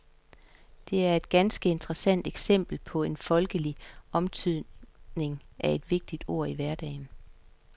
Det er et ganske interessant eksempel på en folkelig omtydning af et vigtigt ord i hverdagen.